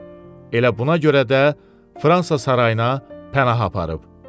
Elə buna görə də Fransa sarayına pənah aparıb.